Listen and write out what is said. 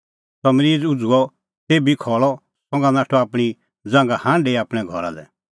सह मरीज़ उझ़ुअ तेभी खल़अ संघा नाठअ आपणीं ज़ांघा हांढी आपणैं घरा लै